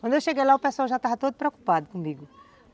Quando eu cheguei lá o pessoal já estava todo preocupado comigo.